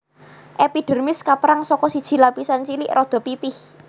Èpidèrmis kapérang saka siji lapisan cilik rada pipih